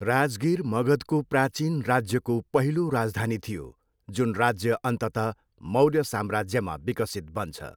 राजगिर मगधको प्राचीन राज्यको पहिलो राजधानी थियो, जुन राज्य अन्ततः मौर्य साम्राज्यमा विकसित बन्छ।